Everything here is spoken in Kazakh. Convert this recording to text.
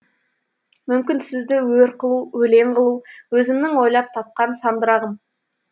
мүмкін сізді өр қылу өлең қылу өзімнің ойлап тапқан сандырағым